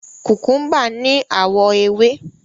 Kukumba ni awọ ewe